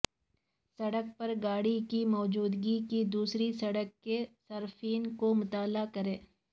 سڑک پر گاڑی کی موجودگی کی دوسری سڑک کے صارفین کو مطلع کریں